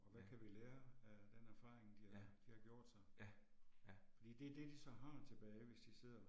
Ja. Ja. Ja, ja